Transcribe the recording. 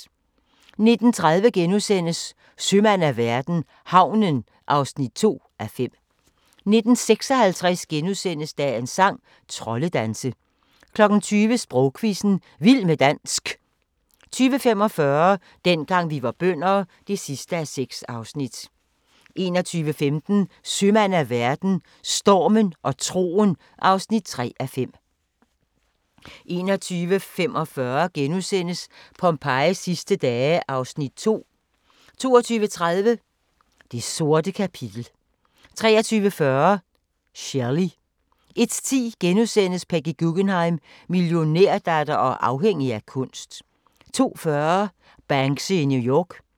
19:30: Sømand af verden - havnen (2:5)* 19:56: Dagens sang: Troldedanse * 20:00: Sprogquizzen - vild med dansk 20:45: Dengang vi var bønder (6:6) 21:15: Sømand af verden – Stormen og troen (3:5) 21:45: Pompejis sidste dage (Afs. 2)* 22:30: Det sorte kapitel 23:40: Shelley 01:10: Peggy Guggenheim - millionærdatter og afhængig af kunst * 02:40: Banksy i New York